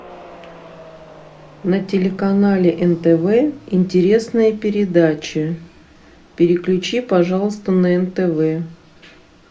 на телеканале нтв интересные передачи переключи пожалуйста на нтв